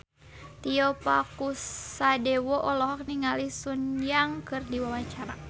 Tio Pakusadewo olohok ningali Sun Yang keur diwawancara